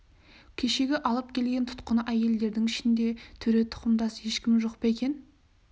кешегі алып келген тұтқын әйелдердің ішінде төре тұқымдас ешкім жоқ па екен